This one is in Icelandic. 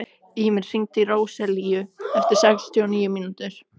Ýmir, hringdu í Róselíu eftir sextíu og níu mínútur.